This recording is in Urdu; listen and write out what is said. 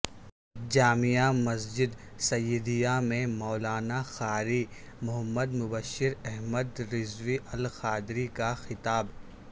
جامع مسجد سعیدیہ میں مولانا قاری محمد مبشر احمد رضوی القادری کا خطاب